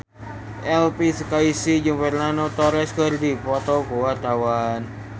Elvy Sukaesih jeung Fernando Torres keur dipoto ku wartawan